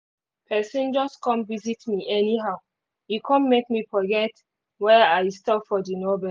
person just come visit me anyhow e come make me forget where i stop for the novel